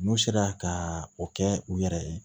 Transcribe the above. N'u sera ka o kɛ u yɛrɛ ye